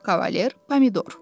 Kavalier Pomidor.